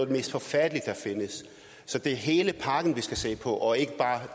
det mest forfærdelige der findes så det er hele pakken vi skal se på og ikke bare